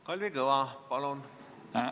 Kalvi Kõva, palun!